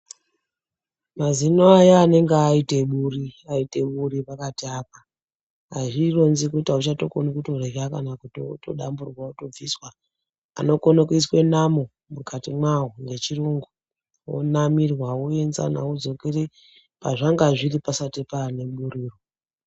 Mazino aya anonga aitaburi buri pakati apa azvironzi kuti auchatokoni kutorya kana kutoti otodamburwa otobviswa. Anokone kuiswa namo mukati mwawo yechiyungu, onamirwa, oenzana odzokera pazvanga zviri pasati paneburiro.